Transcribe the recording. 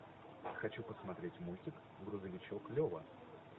хочу посмотреть мультик грузовичок лева